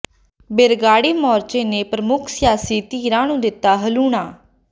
ਬਰਗਾੜੀ ਮੋਰਚੇ ਨੇ ਪ੍ਰਮੁੱਖ ਸਿਆਸੀ ਧਿਰਾਂ ਨੂੰ ਦਿੱਤਾ ਹਲੂਣਾ